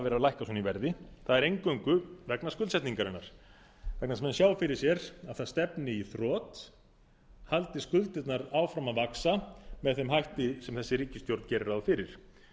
vera að lækka svona í verði það er eingöngu vegna skuldsetningarinnar vegna þess að menn sjá fyrir sér að að stefni í þrot haldi skuldirnar áfram að vaxa með þeim hætti sem þessi ríkisstjórn gerir ráð fyrir